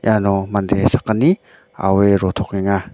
iano mande sakgni aue rotokenga.